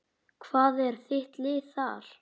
Hvað er þitt lið þar?